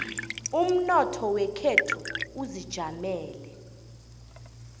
umnotho wekhethu uzijamele